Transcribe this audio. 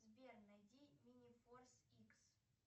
сбер найди минифорс икс